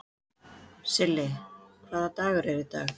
Silli, hvaða dagur er í dag?